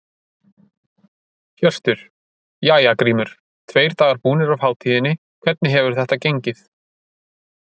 Hjörtur: Jæja Grímur, tveir dagar búnir af hátíðinni, hvernig hefur þetta gengið?